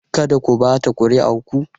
Kada ku ɓata kuri'ar ku!